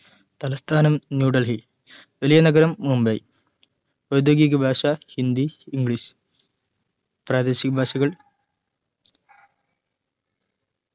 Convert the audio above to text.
തലസ്ഥാനം ന്യൂ ഡൽഹി വലിയ നഗരം മുംബൈ ഔദ്യോഗിക ഭാഷ ഹിന്ദി ഇംഗ്ലീഷ് പ്രാദേശിക ഭാഷകൾ